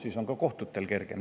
Nii on ka kohtutel kergem.